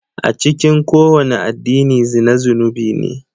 A cikin kowane addini zina zunubi ne.